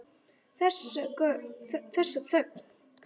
Þessa þögn.